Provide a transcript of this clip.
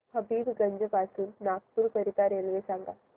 हबीबगंज पासून नागपूर करीता रेल्वे सांगा